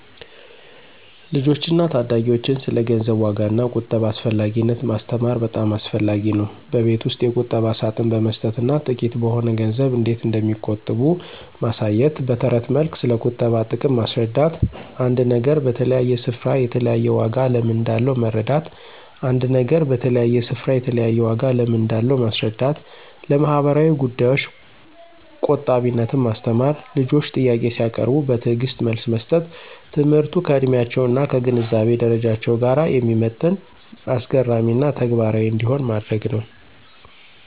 ልጆችን እና ታዳጊዎችን ስለ ገንዘብ ዋጋ እና ቁጠባ አስፈላጊነት ማስተማር በጣም አስፈላጊ ነው። በቤት ውስጥ የቁጠባ ሳጥን በመስጠት እና ጥቂት በሆነ ገንዘብ እንዴት እንደሚቆጥቡ ማሳየት። በትረት መልክ ስለቁጠባ ጥቅም ማስረዳት። አንድ ነገር በተለያየ ስፍራ የተለያየ ዋጋ ለምን እንዳለው መረዳት ·አንድ ነገር በተለያየ ስፍራ የተለያየ ዋጋ ለምን እንዳለው ማስረዳት። ለማህበራዊ ጉዳዮች ቆጣቢነትን ማስተማር። ልጆች ጥያቄ ሲያቀርቡ በትዕግስት መልስ መስጠት። ትምህርቱ ከዕድሜያቸው እና ከግንዛቤ ደረጃቸው ጋር የሚመጥን፣ አስገራሚ እና ተግባራዊ እንዲሆን ማድረግ ነው።